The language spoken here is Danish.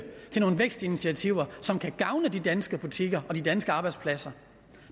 til nogle vækstinitiativer som kan gavne de danske butikker og de danske arbejdspladser